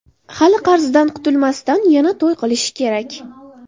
Hali qarzidan qutulmasdan, yana to‘y qilishi kerak.